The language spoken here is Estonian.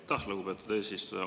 Aitäh, lugupeetud eesistuja!